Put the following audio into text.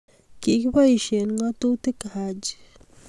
Kikiboisie ngatutik Haji.